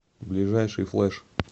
ближайший флэш